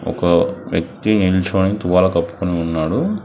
ఒక వ్యక్తి నిల్చొని టువాలా కప్పుకొని ఉన్నాడు.